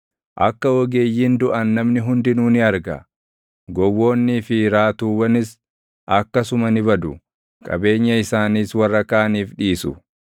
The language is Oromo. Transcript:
Akka ogeeyyiin duʼan namni hundinuu ni arga; gowwoonnii fi raatuwwanis akkasuma ni badu; qabeenya isaaniis warra kaaniif dhiisu.